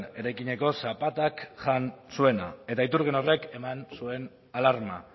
eraikineko zapatak jan zuena eta iturgin horrek eman zuen alarma